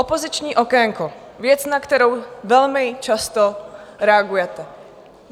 Opoziční okénko, věc, na kterou velmi často reagujete.